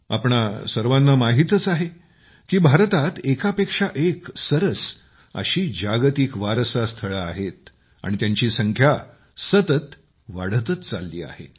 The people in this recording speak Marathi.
आपणा सर्वांना माहितच आहे की भारतात एकापेक्षा एक सरस अशी जागतिक वारसा स्थळे आहेत आणि त्यांची संख्या सतत वाढतच चालली आहे